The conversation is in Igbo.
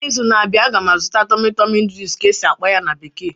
N'izu na-abịa, a ga m azụta 'tummy tummy noodles' ka e si akpo ya na bekee